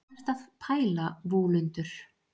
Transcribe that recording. hvað ertu að pæla vúlundur